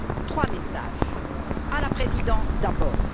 Trois messages à la Présidence d'abord.